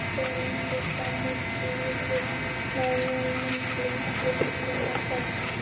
Daginn eftir hljóp hraunið svo fram úr gljúfrinu með miklum dynkjum og brestum.